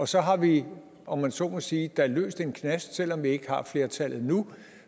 så har vi om man så må sige løst en knast og selv om vi ikke har flertallet nu